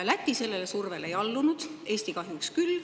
Läti sellele survele ei allunud, Eesti kahjuks küll.